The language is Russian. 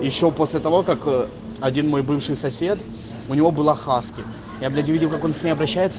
ещё после того как один мой бывший сосед у него была хаски я блять увидел как он с ней обращается